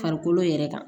Farikolo yɛrɛ kan